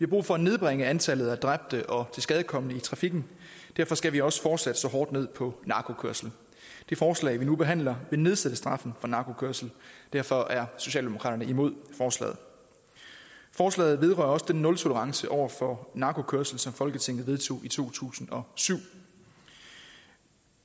brug for at nedbringe antallet af dræbte og tilskadekomne i trafikken derfor skal vi også fortsat slå hårdt ned på narkokørsel det forslag vi nu behandler vil nedsætte straffen for narkokørsel derfor er socialdemokraterne imod forslaget forslaget vedrører også den nultolerance over for narkokørsel som folketinget vedtog i to tusind og syv